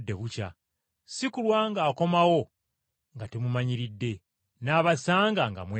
si kulwa ng’akomawo nga temumanyiridde, n’abasanga nga mwebase.